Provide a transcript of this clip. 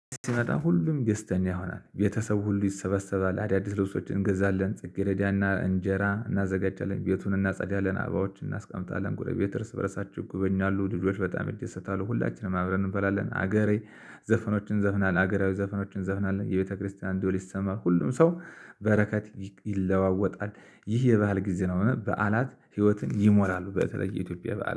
ሲመጣ ሁሉም ደስተኛ ይሆናል ቤተሰብ ሁሉ ይሰበሰባል አዳዲስ ልብሶችን እንገዛለን ጽጌረዳና እንጀራ እናዘጋጃለን ቤቱን እናጸዳለን አበቦችን እናስቀምጣለን ጎረቤት እርስ በርሳቸው ይጎበኛሉ ልጆች በጣም ይደሰታሉ ሁላችንም አብረን እንበላለን። ሀገሬ ዘፈኖችን እንዘፍናለን ሀገራዊ ዘፈኖችን እንዘፍናለን የቤተክርስቲያን ደወል ይሰማ ሁሉም ሰው በረከት ይለዋወጣል። ይህ የባህል ጊዜ ነው። በዓላት ህይወትን ይሞላሉ በተለይ የኢትዮጵያ በዓላት